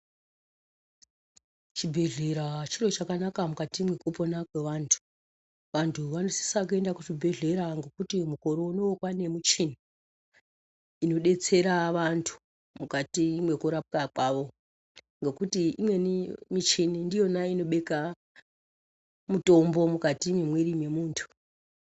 Chibhedhlera chiro cgakanaka mukati mwekupona kwevantu vantu vanosisa kuenda kuchibhedhlera ngekuti mukoro unowu kwaane muchini inodetsera vantu mukati mwekurapwa kwavo ngekuti Imweni michini ndiyona inobekka mitombo mukati mwemwiri mwemuntu.